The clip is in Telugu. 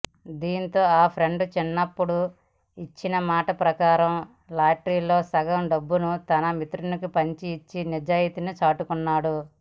దీంతో ఆ ఫ్రెండ్ చిన్నప్పుడు ఇచ్చిన మాట ప్రకారం లాటరీలో సగం డబ్బును తన మిత్రునికి పంచిఇచ్చి నిజాయితీని చాటుకున్నాడు